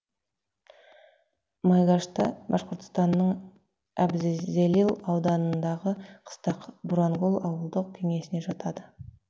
майгашта башқұртстанның әбзезелил ауданындағы қыстақ бурангул ауылдық кеңесіне жатады